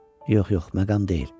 Yox, yox, məqam deyil.